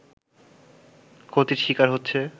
ক্ষতির শিকার হচ্ছে